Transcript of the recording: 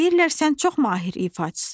"Deyirlər sən çox mahir ifaçısan.